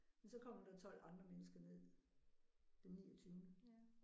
Men så kommer der 12 andre mennesker ned den niogtyvende